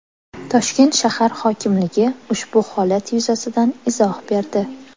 Toshkent shahar hokimligi ushbu holat yuzasidan izoh berdi .